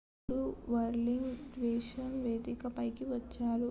అప్పుడు whirling dervishes వేదిక పైకి వచ్చారు